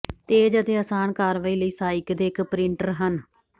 ਤੇਜ਼ ਅਤੇ ਆਸਾਨ ਕਾਰਵਾਈ ਲਈ ਸਹਾਇਕ ਦੇ ਇਕ ਪ੍ਰਿੰਟਰ ਹਨ